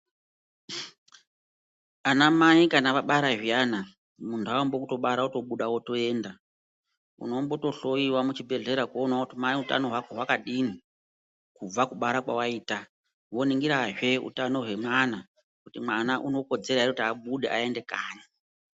Anamai kana vabara zviyana muntu haambi nekutobara votobuda votoenda. Unomboto hloiwa muzvibhedhlera kuona kuti mai utano hwako hwakadini kubva kubara kwavaita. Voningirazve utano hwemwana kuti mwana unokodzera ere kuti abude aende kanyi.